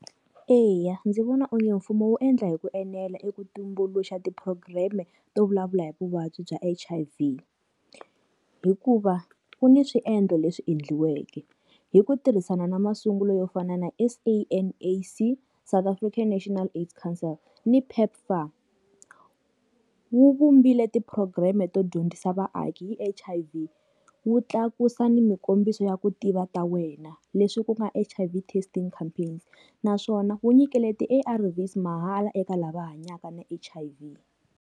Eya, ndzi vona onge mfumo wu endla hi ku enela eka ku tumbuluxa ti program-e to vulavula hi vuvabyi bya H_I_V. Hikuva ku ni swiendlo leswi endliweke hi ku tirhisana na masungulo yo fana na S_A_N_A_C South African National AIDS Counsel ni PEPFAR. Wu vumbile ti-program-e to dyondzisa vaaki hi H_I_V, wu tlakusa ni minkombiso ya ku tiva ta wena. Leswi ku nga H_I_V testing campaigns. Naswona wu nyikele ti-A_R_Vs mahala eka lava hanyaka na H_I_V.